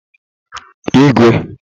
igwe